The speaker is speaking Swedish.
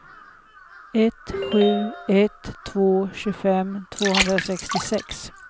ett sju ett två tjugofem tvåhundrasextiosex